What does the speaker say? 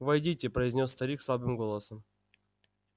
войдите произнёс старик слабым голосом